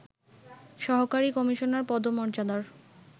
সহকারী কমিশনার পদমর্যাদার